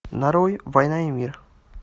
нарой война и мир